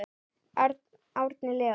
Árni Leó.